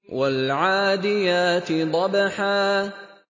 وَالْعَادِيَاتِ ضَبْحًا